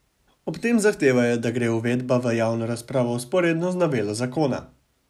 Ob tem zahtevajo, da gre uredba v javno razpravo vzporedno z novelo zakona.